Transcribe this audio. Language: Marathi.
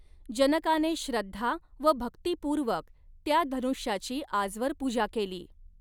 जनकाने श्रद्धा व भक्तिपूर्वक त्या धनुष्याची आजवर पूजा केली.